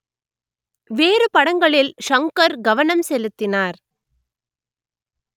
வேறு படங்களில் ஷங்கர் கவனம் செலுத்தினார்